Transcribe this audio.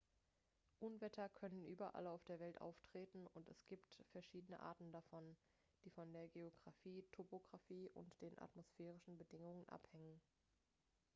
unwetter können überall auf der welt auftreten und es gibt verschiedene arten davon die von der geographie topographie und den atmosphärischen bedingungen abhängen